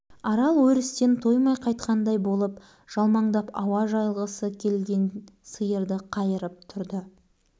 аддағы сенбіде апарып тастаймын ауылға деді ағасы содан соң тайжан аралды күрең атқа мінгізеді бұдан қызық